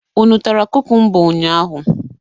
Unu tara kukumba ụnyaahụ?